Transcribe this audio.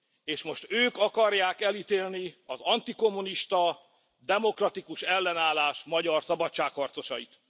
És most ők akarják elítélni az antikommunista, demokratikus ellenállás magyar szabadságharcosait.